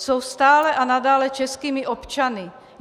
Jsou stále a nadále českými občany.